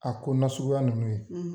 A ko nasuguya ninnu ye